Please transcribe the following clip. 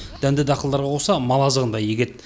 дәнді дақылдарға қоса мал азығын да егеді